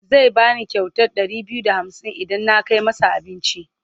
Zai ba ni kyautar ɗari biyu da hamsin idan na kai masa abinci.